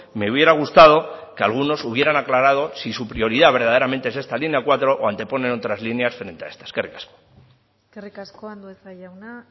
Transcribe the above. me hubiera gustado que algunos hubieran aclarado si su prioridad verdaderamente es esta línea cuatro o antepone otras líneas frente a esta eskerrik asko eskerrik asko andueza jauna